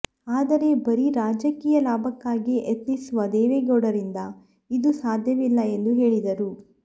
ಆದರೆ ಬರೀ ರಾಜಕೀಯ ಲಾಭಕ್ಕಾಗಿಯೆ ಯತ್ನಿಸುವ ದೇವೇಗೌಡರಿಂದ ಇದು ಸಾಧ್ಯವಿಲ್ಲ ಎಂದು ಹೇಳಿದರು